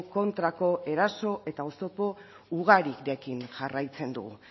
kontrako eraso eta oztopo ugarirekin jarraitzen dugu